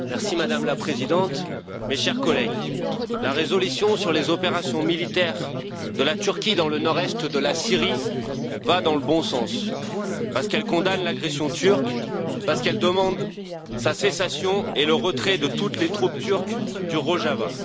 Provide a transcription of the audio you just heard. Madame la Présidente, Chers collègues, la résolution sur les opérations militaires de la Turquie dans le nord est de la Syrie va dans le bon sens parce qu'elle condamne l'agression turque, parce qu'elle demande sa cessation et le retrait de toutes les troupes turques du Rojava.